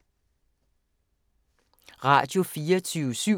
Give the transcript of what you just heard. Radio24syv